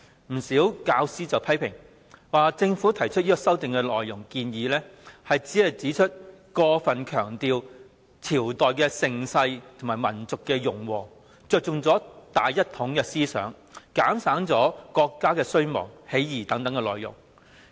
不少教師批評政府提出的修訂建議過分強調朝代盛世和民族融和，着重於"大一統"思想而減省國家衰亡、起義等內容。